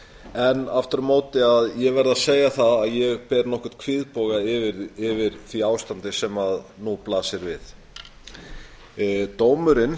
en aftur á móti verð ég að segja að ég ber nokkurn kvíðboga yfir því ástandi sem nú blasir við dómurinn